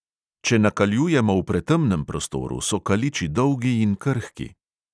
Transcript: Če nakaljujemo v pretemnem prostoru, so kaliči dolgi in krhki.